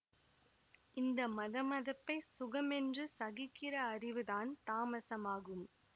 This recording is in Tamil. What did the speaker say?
இந்த மதமதப்பைச் சுகமென்று சகிக்கிற அறிவுதான் தாமசமாகும்